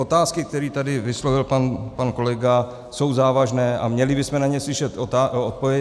Otázky, které tady vyslovil pan kolega, jsou závažné a měli bychom na ně slyšet odpovědi.